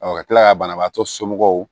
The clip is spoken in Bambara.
ka kila ka banabaatɔ somɔgɔw